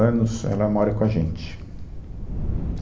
anos, ela mora com a gente